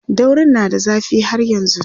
daurin na da zafi har yanzun